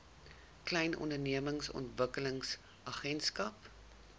klein ondernemings ontwikkelingsagentskap